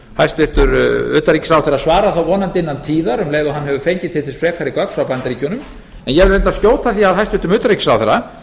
utanríkisráðherra svarar þá vonandi innan tíðar um leið og hann hefur fengið til þess frekari gögn frá bandaríkjunum en ég vil reyndar skjóta því að hæstvirtur utanríkisráðherra